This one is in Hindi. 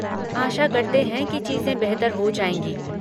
आशा करते हैं कि चीज़ें बेहतर हो जाएँगी।